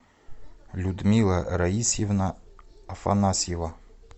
людмила раисьевна афанасьева